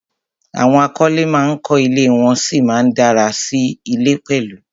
Àwọn akọ́lé ma ń kọ́ ilé, wọ́n sì ma ń dárà sí ilé pẹ̀lú